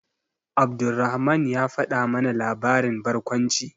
Abdulrahman ya faɗa mana labarin barkwanci.